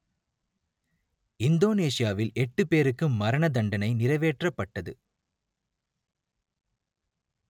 இந்தோனேசியாவில் எட்டு பேருக்கு மரணதண்டனை நிறைவேற்றப்பட்டது